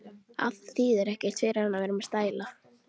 Að það þýði ekkert fyrir hann að vera með stæla.